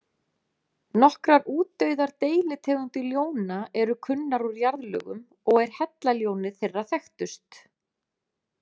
Nokkrar útdauðar deilitegundir ljóna eru kunnar úr jarðlögum og er hellaljónið þeirra þekktust.